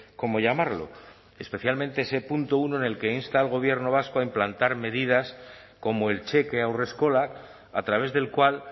cómo llamarlo especialmente ese punto uno en el que insta al gobierno vasco a implantar medidas como el cheque haurreskolak a través del cual